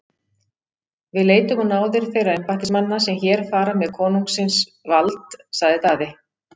Við leitum á náðir þeirra embættismanna sem hér fara með konungsins vald, sagði Daði.